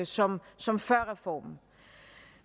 som som før reformen